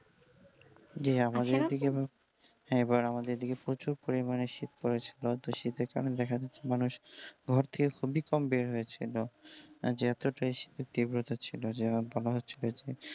জী আমদের এইদিকে হ্যাঁ আমদের এইদিকে প্রচুর পরিমাণে শীত পড়ে ছিল, তো শীতের কারনে দেখা যাচ্ছে মানুষ ঘর থেকে খুবই কম বের হয়েছিল, যে এতটাই শীতের তীব্রতা ছিল যে বলা হচ্ছিল যে,